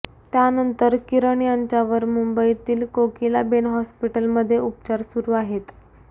त्यानंतर किरण यांच्यावर मुंबईतील कोकिलाबेन हॉस्पिटलमध्ये उपचार सुरू आहेत